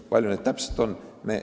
Kui palju neid täpselt on?